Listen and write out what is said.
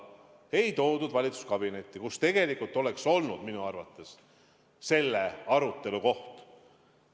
Ei toodud valitsuskabinetti, kus tegelikult oleks minu arvates olnud selle arutelu koht.